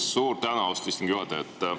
Suur tänu, austatud istungi juhataja!